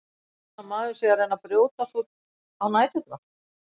Eins og annar maður sé að reyna að brjótast út á næturnar.